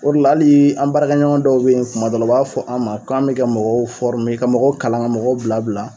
O de la hali an baarakɛ ɲɔgɔn dɔw bɛ ye kuma dɔ la u b'a fɔ an ma k'an bɛ ka mɔgɔw ka mɔgɔw kalan ka mɔgɔw bila bila.